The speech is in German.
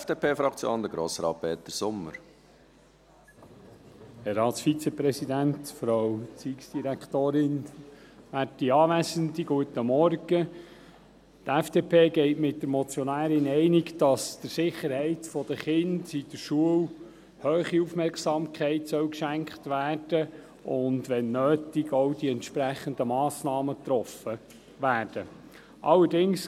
Die FDP geht mit der Motionärin einig, dass der Sicherheit der Kinder in der Schule eine hohe Aufmerksamkeit geschenkt und, wenn nötig, auch die entsprechenden Massnahmen getroffen werden sollen.